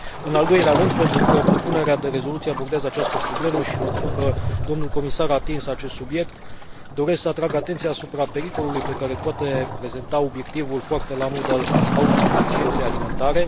În al doilea rând, pentru că propunerea de rezoluție abordează această problemă și mă bucur că domnul comisar a atins acest subiect, doresc să atrag atenția asupra pericolului pe care îl poate prezenta obiectivul foarte la modă al autosuficienței alimentare.